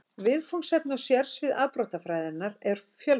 Viðfangsefni og sérsvið afbrotafræðinnar eru fjölbreytt.